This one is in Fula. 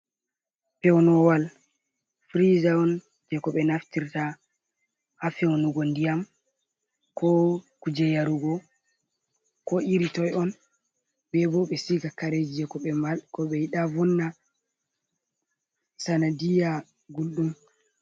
Pewnoowal firiiza on jey ko ɓe naftirta ha fewnugo ndiyam, ko kuje yarugo ko iritoy on, ɓe ɗo bo, ɓe siga kareeji jey ko ɓe yiɗa vonna sanadiiya gulɗum.